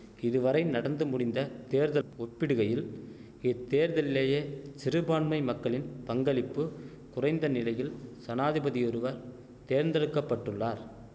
இதுவரை நடந்து முடிந்த தேர்தல் ஒப்பிடுகையில் இத்தேர்தல்லியே சிறுபான்மை மக்களின் பங்களிப்பு குறைந்த நிலையில் சனாதிபதியொருவர் தேர்ந்தெடுக்க பட்டுள்ளார்